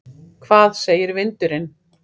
Hvað segir vindurinn?